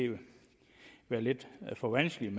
være lidt for vanskeligt